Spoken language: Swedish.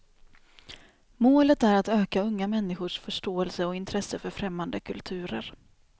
Målet är att öka unga människors förståelse och intresse för främmande kulturer.